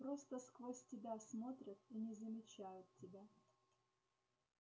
просто сквозь тебя смотрят и не замечают тебя